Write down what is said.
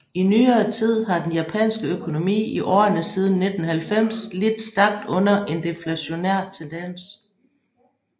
I nyere tid har den japanske økonomi i årene siden 1990 lidt stærkt under en deflationær tendens